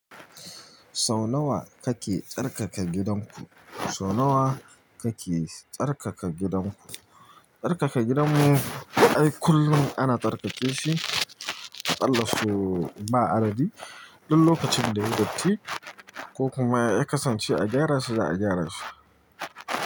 Sau nawa kake tsarkaka gidanku? Sau nawa kake tsarkaka gidanku? Tsarkaka gidanmu ai kullum ana tsarkake shi, akalla sau ba adadi. Duk lokacin da yayi datti ko kuma ya kasance a gyara sa za a gyara shi.